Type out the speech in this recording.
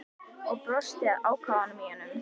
Og brosti að ákafanum í honum.